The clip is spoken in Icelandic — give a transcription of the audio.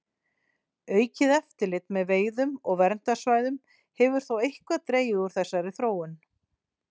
Aukið eftirlit með veiðum og verndarsvæðum hefur þó eitthvað dregið úr þessari þróun.